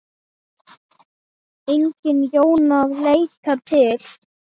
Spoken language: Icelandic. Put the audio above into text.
Engin Jóna að leita til.